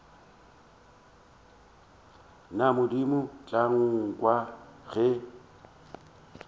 na modimo tla nkwa ge